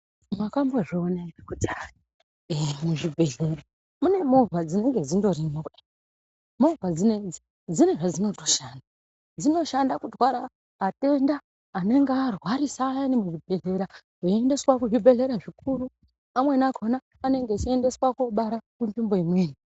Makambo zvoona ere kuti hai mu zvibhedhlera mune movha dzinenge dzindo rimo kudai movha dzinedzi dzine zva dzinoshanda kutwara atenda anenge arwarisa ayani mu zvibhedhlera veyi endeswa ku zvibhedhlera zvikuru amweni akona anenge achi endeswa kobara ku nzvimbo imweni.